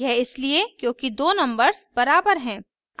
यह इसलिए क्योंकि दो नम्बर्स बराबर हैं